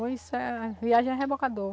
Isso é viagem a rebocador.